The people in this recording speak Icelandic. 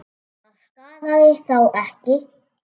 Það skaðaði þá ekki.